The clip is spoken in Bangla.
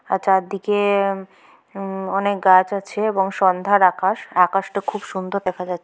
আ চারদিকে উম অনেক গাছ আছে এবং সন্ধ্যা আকাশ-আকাশটা খুব সুন্দর দেখা যাচ্ছ--